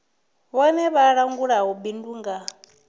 vhone vha langulaho bindu nga